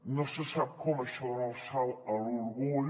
no se sap com això dona el salt a l’orgull